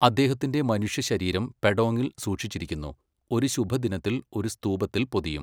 അദ്ദേഹത്തിന്റെ മനുഷ്യശരീരം പെഡോങ്ങിൽ സൂക്ഷിച്ചിരിക്കുന്നു, ഒരു ശുഭദിനത്തിൽ ഒരു സ്തൂപത്തിൽ പൊതിയും